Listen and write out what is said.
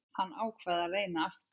Hann ákvað að reyna aftur.